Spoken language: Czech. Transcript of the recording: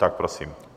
Tak prosím.